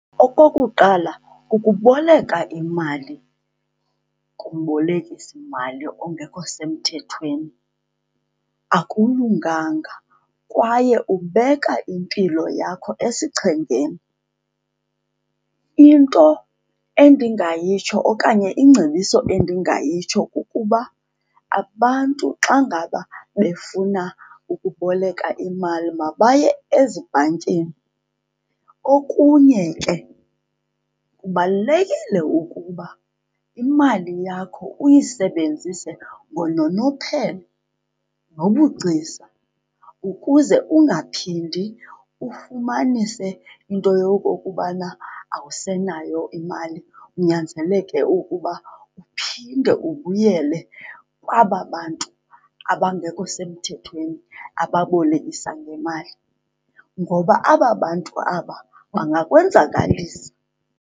Okokuqala, ukuboleka imali kumbolekisimali ongekho semthethweni akulunganga kwaye ubeka impilo yakho esichengeni. Into endingayitsho okanye ingcebiso endingayitsho kukuba abantu xa ngaba befuna ukuboleka imali mabaye ezibhankini. Okunye ke, kubalulekile ukuba imali yakho uyisebenzise ngononophelo nobugcisa ukuze ungaphindi ufumanise into yokokubana awusenayo imali, unyanzeleke ukuba uphinde ubuyele kwaba bantu abangekho semthethweni ababolekisa ngemali. Ngoba aba bantu abaya bangakwenzakalisa.